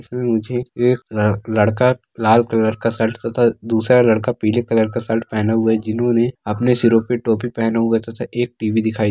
इसमें मुझे एक लड़--लड़का लाल कलर का शर्ट तथा दूसरा लड़का पीले कलर का शर्ट पहना हुआ है जिन्होंने अपने सिरों पे टोपी पहना हुआ है तथा एक टीवी दिखाई--